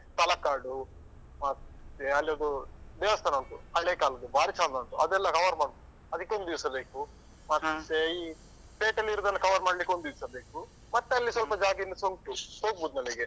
ತಲಕಾಡು, ಮತ್ತೆ ಅಲ್ಲೊಂದು ದೇವಸ್ಥಾನ ಉಂಟು ಹಳೇ ಕಾಲದ್ದು ಬಾರಿ ಚಂದ ಉಂಟು ಅದೆಲ್ಲ cover ಮಾಡ್ಬೇಕು ಅದಕ್ಕೊಂದು ದಿವ್ಸ ಬೇಕು. ಮತ್ತೆ ಈ ಪೇಟೆಯಲ್ಲಿ ಇರುದನ್ನು cover ಮಾಡ್ಲಿಕ್ಕೆ ಒಂದಿವ್ಸ ಬೇಕು. ಮತ್ತೆ ಅಲ್ಲೇ ಸ್ವಲ್ಪ ಜಾಗ ಇನ್ನುಸ ಉಂಟು ಹೋಗ್ಬೋದು ಮನೆಗೆ.